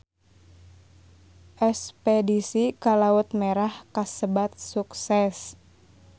Espedisi ka Laut Merah kasebat sukses